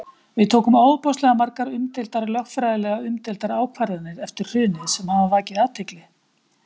Við tókum ofboðslega margar umdeildar, lögfræðilega umdeildar ákvarðanir eftir hrunið sem hafa vakið athygli?